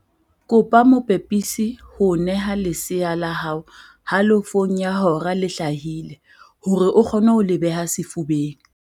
Kopa mopepisi ho o neha lesea la hao halofong ya hora le hlahile hore o kgone ho le beha sefubeng.